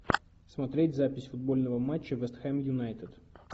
смотреть запись футбольного матча вест хэм юнайтед